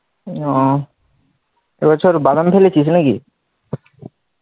ওহ এ বছর বাদাম ঢেলেছিস নাকি?